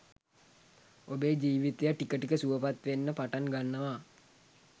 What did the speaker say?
ඔබේ ජීවිතය ටික ටික සුවපත් වෙන්න පටන් ගන්නවා.